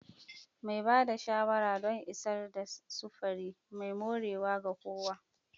Mai ba da shawara don isar da sufuri mai dorewa ga kowa.